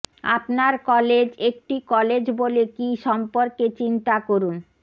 আপনার কলেজ একটি কলেজ বলে কি সম্পর্কে চিন্তা করুন